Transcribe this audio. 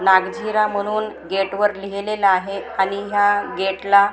नागझिरा म्हणून गेटवर लिहिलेलं आहे आणि ह्या गेटला --